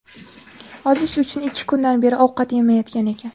Ozish uchun ikki kundan beri ovqat yemayotgan ekan.